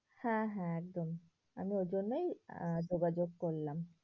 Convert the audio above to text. হ্যাঁ হ্যাঁ একদম আমি ওর জন্যই আহ যোগাযোগ করলাম।